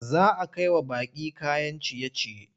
Za a kai wa baƙi kayan ciye-ciye.